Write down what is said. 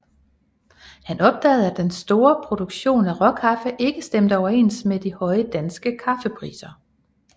Han opdagede at den store produktion af råkaffe ikke stemte overens med de høje danske kaffepriser